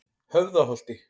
Höfðaholti